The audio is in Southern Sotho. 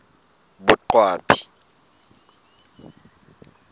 boqwabi